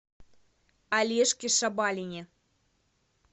олежке шабалине